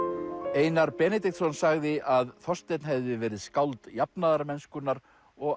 Einar Benediktsson sagði að Þorsteinn hefði verið skáld jafnaðarmennskunnar og